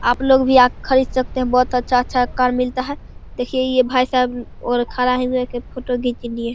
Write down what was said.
आपलोग भी आकर खरीद सकते हैं बहोत अच्छा-अच्छा कार मिलता है देखिये ये भाई साहब अ और खड़ा है जाके फोटो खींच लिए |